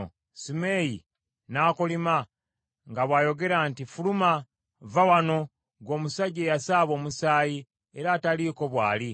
Simeeyi n’akolima, nga bw’ayogera nti, “Fuluma, vva wano, ggwe omusajja eyasaaba omusaayi, era ataliiko bw’ali!